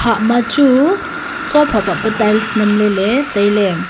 hah ma chu tsua phah phah pa tiles nam ley ley tailey.